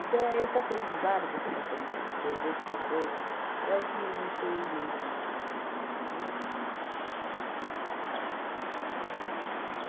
é esse aprendizado que eu estou passando para você, o pouco que eu sei, é o que me fez ir para o Espiritismo, entendeu? É essa é